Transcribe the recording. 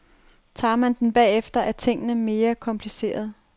Tager man den bagefter, er tingene mere komplicerede.